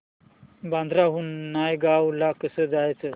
बांद्रा हून नायगाव ला कसं जायचं